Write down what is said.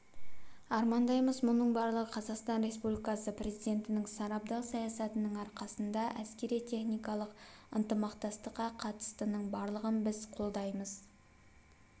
армандаймыз мұның барлығы қазақстан республикасы президентінің сарабдал саясатының арқасында әскери-техникалық ынтымақтастыққа қатыстының барлығын біз қолдаймыз